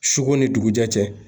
Suko ni dugujɛ cɛ.